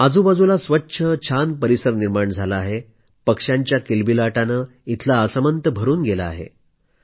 आजूबाजूला स्वच्छ छान परिसर निर्माण झाला आहे पक्ष्यांच्या कलरवानं इथला आसमंत भरून गेला आहे